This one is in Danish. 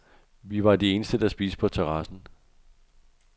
Vi var de eneste, der spiste på terrassen.